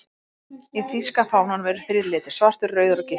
Í þýska fánanum eru þrír litir, svartur, rauður og gylltur.